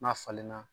N'a falenna